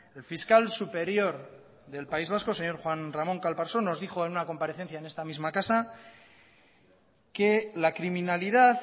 el fiscal superior del país vasco el señor juan ramón calparsoro nos dijo en una comparecencia en esta misma casa que la criminalidad